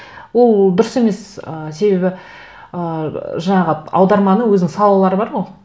ол дұрыс емес ы себебі ыыы жаңағы аударманың өзінің салалары бар ғой